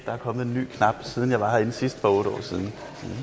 der er kommet en ny knap siden jeg var herinde sidst for otte år siden